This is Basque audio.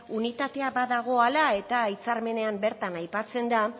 unitatea badagoela eta hitzarmenean bertan aipatzen da